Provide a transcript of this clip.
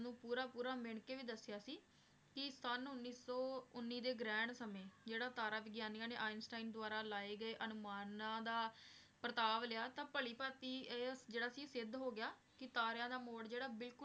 ਪੂਰਾ ਪੂਰਾ ਮਿਣ ਕੇ ਵੀ ਦੱਸਿਆ ਸੀ ਕਿ ਸੰਨ ਉੱਨੀ ਸੌ ਉੱਨੀ ਦੇ ਗ੍ਰਹਿਣ ਸਮੇਂ ਜਿਹੜਾ ਤਾਰਾ ਵਿਗਿਆਨੀਆਂ ਨੇ ਆਈਨਸਟੀਨ ਦੁਆਰਾ ਲਾਏ ਗਏ ਅਨੁਮਾਨਾਂ ਦਾ ਪਰਤਾਵ ਲਿਆ, ਤਾਂ ਭਲੀ ਭਾਂਤੀ ਇਹ ਜਿਹੜਾ ਸੀ ਸਿੱਧ ਹੋ ਗਿਆ ਕਿ ਤਾਰਿਆਂ ਦਾ ਮੋਡ ਜਿਹੜਾ ਬਿਲਕੁਲ